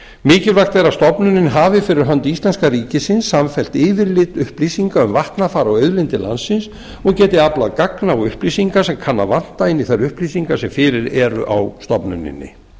mikilvægt er að stofnunin hafi fyrir hönd íslenska ríkisins samfellt yfirlit upplýsinga um vatnafar og auðlindir landsins og geti aflað gagna og upplýsinga sem kann að vanta inn í þær upplýsingar sem fyrir eru á stofnuninni